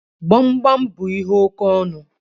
Gbamgbam bú ihe oke ọnụ